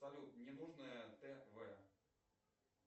салют мне нужно тв